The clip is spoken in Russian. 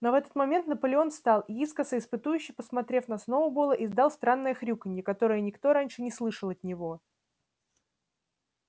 но в этот момент наполеон встал и искоса испытующе посмотрев на сноуболла издал странное хрюканье которое никто раньше не слышал от него